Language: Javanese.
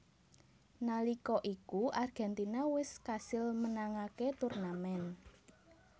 Nalika iku Argentina wés kasil menangaké turnamen